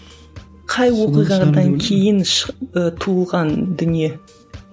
қай оқиғадан кейін ы туылған дүние